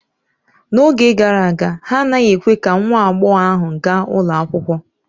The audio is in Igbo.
N'oge gara aga, ha anaghị ekwe ka nwa agbọghọ ahụ gaa ụlọ akwụkwọ